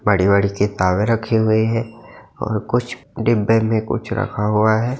बड़ी-बड़ी किताबें रखी हुई हैं और कुछ डिब्बे मे कुछ रखा हुआ हैं।